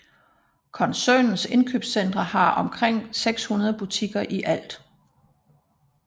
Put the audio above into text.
Koncernens indkøbscentre har omkring 600 butikker i alt